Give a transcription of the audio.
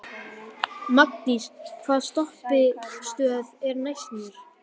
Magndís, hvaða stoppistöð er næst mér?